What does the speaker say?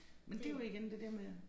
Men det jo igen det der med